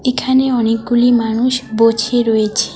এখানে অনেকগুলি মানুষ বোছে রয়েছে।